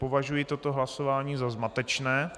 Považuji toto hlasování za zmatečné.